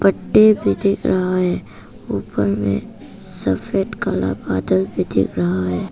पत्ते भी दिख रहा है। ऊपर में सफेद कलर बादल भी दिख रहा है।